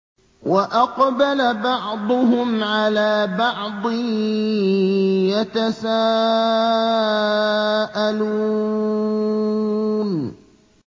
وَأَقْبَلَ بَعْضُهُمْ عَلَىٰ بَعْضٍ يَتَسَاءَلُونَ